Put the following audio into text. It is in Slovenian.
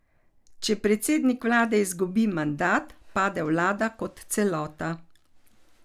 Če predsednik vlade izgubi mandat, pade vlada kot celota.